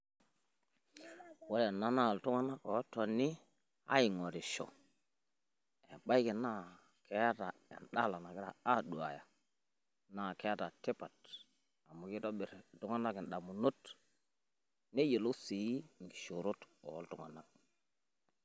Ore ena naa iltung`anak ootoni aing`orisho. Ebaiki naa keeta en`dala nagira aaduaya naa keeta tipat amu kitobirr iltung`anak in`damunot neyiolou sii nkishoorot oo iltung`anak.